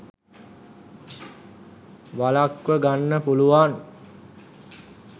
වලක්ව ගන්න පුළුවන්.